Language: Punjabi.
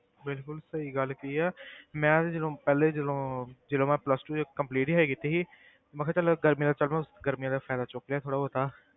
ਬਿਲਕੁਲ ਸਹੀ ਗੱਲ ਕਹੀ ਆ ਮੈਂ ਤੇ ਜਦੋਂ ਪਹਿਲੇ ਜਦੋਂ ਜਦੋਂ ਮੈਂ plus two ਹਜੇ complete ਹੀ ਹਜੇ ਕੀਤੀ ਸੀ ਤੇ ਮੈਂ ਕਿਹਾ ਚੱਲ ਗਰਮੀਆਂ ਦਾ ਚਲੋ ਗਰਮੀਆਂ ਦਾ ਫ਼ਾਇਦਾ ਚੁੱਕ ਲਿਆ ਥੋੜ੍ਹਾ ਬਹੁਤਾ।